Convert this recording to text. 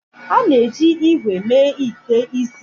A na-eji ígwè mee ite isi.